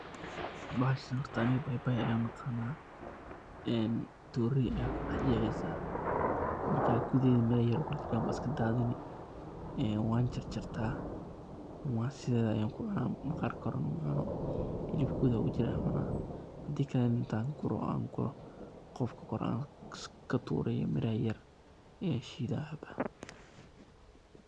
Bahashan horta aniga baybay ayan uaqana torey ayad kudhex jexeysa marka gudeheda miro yar kujiran aya iskadadini een wan jarjarta sideda ayan kucuna maqarka korena macuno hilibka gudaha ogujira ayan cuna hadi kale nah intan guro oo an guro oo qubka kore katuro iyo miraha yaryar ayan shidha.